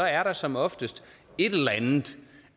er der som oftest et eller andet